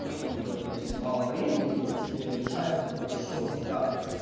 ну какбы если мало времени и тебе мешает как будто что у тебя